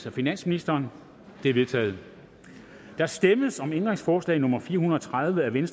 af finansministeren de er vedtaget der stemmes om ændringsforslag nummer fire hundrede og tredive af v